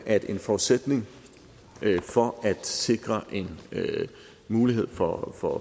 at en forudsætning for at sikre en mulighed for for